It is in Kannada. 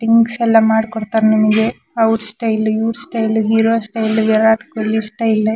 ಥಿಂಗ್ಸ್ ಎಲ್ಲ ಮಾಡ್ ಕೊಡ್ತಾರೆ ನಿಮಗೆ. ಅವ್ರ್ ಸ್ಟೈಲ್ ಇವ್ರ್ style hero style Virat Kohli style --